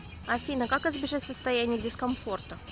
афина как избежать состояния дискомфорта